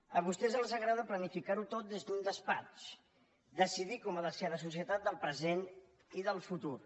a vostès els agrada planificar ho tot des d’un despatx decidir com ha de ser la societat del present i del futur